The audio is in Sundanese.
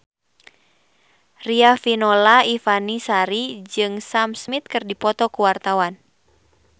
Riafinola Ifani Sari jeung Sam Smith keur dipoto ku wartawan